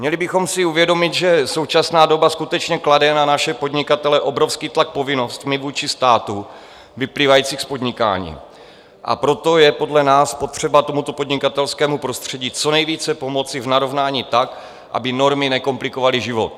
Měli bychom si uvědomit, že současná doba skutečně klade ne naše podnikatele obrovský tlak povinnostmi vůči státu vyplývajícími z podnikání, a proto je podle nás potřeba tomuto podnikatelskému prostředí co nejvíce pomoci v narovnání tak, aby normy nekomplikovaly život.